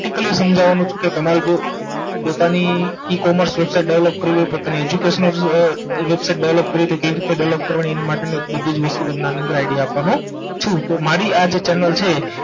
સમજાવવાનો છું કે તમારે જો પોતાની E commerce website develop કરવી હોય પોતાની Educational website development કરવી હોય તો કેવી રીતે development કરવાની એના માટેની બધીજ વસ્તુ આની અંદર idea આપવાનો છું તો મારી આ જે Channel છે